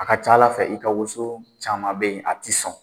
A ka ca Ala fɛ i ka woso caman bɛ yen a tɛ sɔn